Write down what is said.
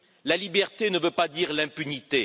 La liberté ne veut pas dire l'impunité.